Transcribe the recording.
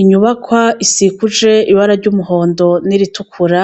Inyubakwa isikuje ibara ry'umuhondo n'iritukura,